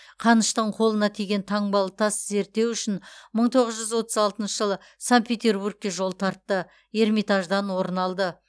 қаныштың қолына тиген таңбалы тас зерттеу үшін мың тоғыз жүз отыз алтыншы жылы санкт петербургке жол тартты эрмитаждан орын алды